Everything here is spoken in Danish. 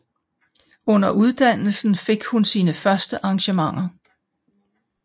Under uddannelsen fik hun sine første engagementer